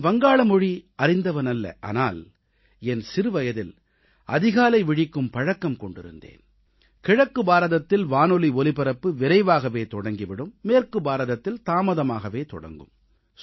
நான் வங்காள மொழி அறிந்தவனல்ல ஆனால் என் சிறுவயதில் அதிகாலை விழிக்கும் பழக்கம் கொண்டிருந்தேன் கிழக்கு பாரதத்தில் வானொலி ஒலிபரப்பு விரைவாகவே தொடங்கி விடும் மேற்கு பாரதத்தில் தாமதமாகவே தொடங்கும்